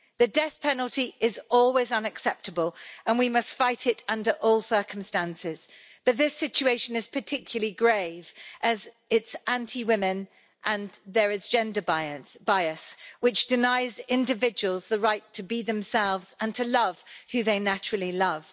The death penalty is always unacceptable and we must fight it under all circumstances, but this situation is particularly grave as it is anti women and there is gender bias, which denies individuals the right to be themselves and to love who they naturally love.